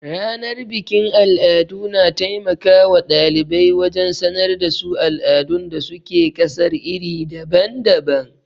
Ranar bikin al'adu, na taimaka wa ɗalibai wajen sanar da su al'adun da su ke ƙasar iri daban-daban.